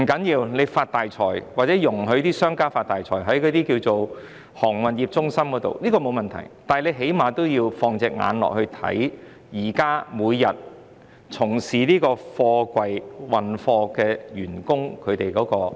政府"發大財"或容許商家在航運中心"發大財"並無問題，但最低限度要密切關注從事貨櫃處理作業人員的安危。